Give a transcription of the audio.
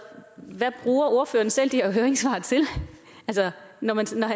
hvad bruger ordføreren selv de her høringssvar til når han sidder